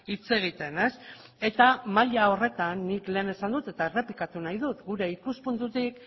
hitz egiten eta maila horretan nik lehen esan dut eta errepikatu nahi dut gure ikuspuntutik